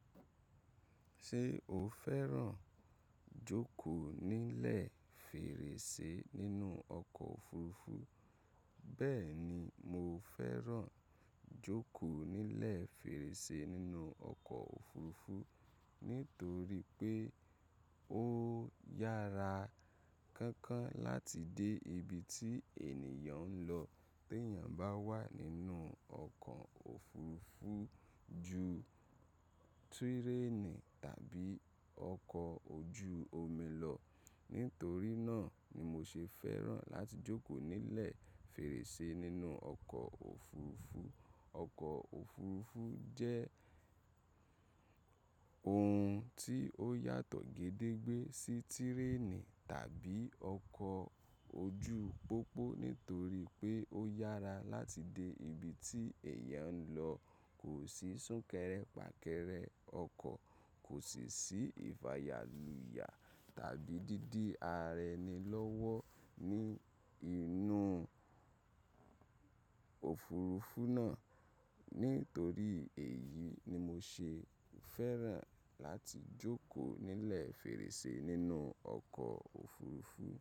Ṣé o fẹ́ràn jókòó nílẹ̀ fèrèsé nínú ọkọ̀ òfurufú? Bẹ́ẹ̀ni, mo fẹ́ràn jókòó nílẹ̀ fèrèsé nínú ọkọ̀ òfurufú. Nítorí pé ó yára kánkán láti dé ibi tí ènìyàn ń lọ tèyàn bá wà nínú ọkọ̀ òfurufú ju túrénì tàbí ọkọ̀ ojú omi lọ. Nítorí náà ni mo ṣe fẹ́ràn láti jókòó nílẹ̀ fèrèsé nínú ọkọ̀ òfurufú. Ọkọ̀ òfurufú jẹ́ ohun tí ó yàtọ̀ gedegbe sí tirénì tàbí ọkọ̀ ojú pópó nítorí pé ó yára láti dé ibi tí èèyàn ń lọ. Kò sí súnkẹrẹ pàkẹrẹ ọkọ̀, kò sì sí ìfàyàlùyà tàbí dídi ara ẹni lọ́wọ́ ní inú òfurufú náà. Nítorí èyí ni mo ṣe fẹ́ràn láti jókòó nílẹ̀ fèrèsé nínú ọkọ̀ òfurufú.